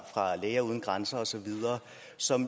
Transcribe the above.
læger uden grænser osv som